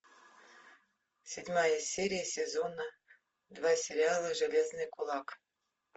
седьмая серия сезона два сериала железный кулак